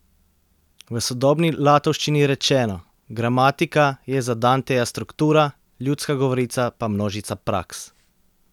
V sodobni latovščini rečeno: 'gramatika' je za Danteja struktura, ljudska govorica pa množica praks.